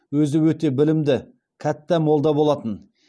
өзі өте білімді кәтта молда болатын